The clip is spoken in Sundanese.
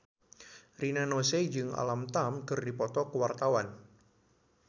Rina Nose jeung Alam Tam keur dipoto ku wartawan